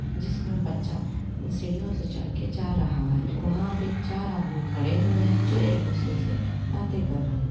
जिसमें बच्चा सीढ़ियों से चढ़ के जा रहा है वहां भी चार आदमी खड़े हुए है जो एक दूसरे से बाते कर रहे--